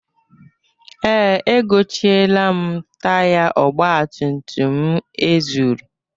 Ee, egochieela m taya ọgbatumtum m e zuru.